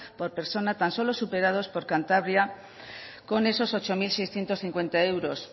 por persona tan solo superados con cantabria con esos ocho mil seiscientos cincuenta euros